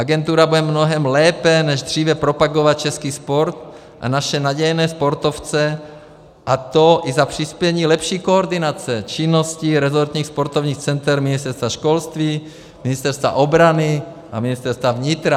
Agentura bude mnohem lépe než dříve propagovat český sport a naše nadějné sportovce, a to i za přispění lepší koordinace činnosti rezortních sportovních center Ministerstva školství, Ministerstva obrany a Ministerstva vnitra.